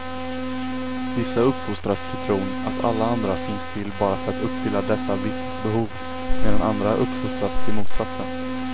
Vissa uppfostras till tron att alla andra finns till bara för att uppfylla dessa vissas behov, medan andra uppfostras till motsatsen.